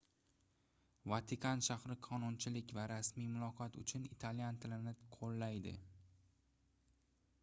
vatikan shahri qonunchilik va rasmiy muloqot uchun italyan tilini qoʻllaydi